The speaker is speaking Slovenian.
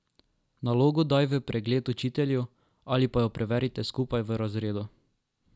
Nalogo daj v pregled učitelju ali pa jo preverite skupaj v razredu.